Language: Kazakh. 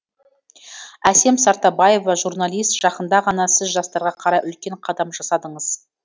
әсем сартбаева журналист жақында ғана сіз жастарға қарай үлкен қадам жасадыңыз